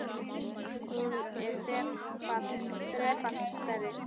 Hún er þrefalt stærri.